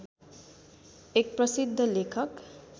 एक प्रसिद्ध लेखक